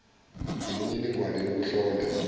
imi niningwane youkuhlola